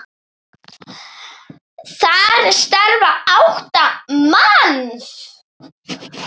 Þar starfa átta manns.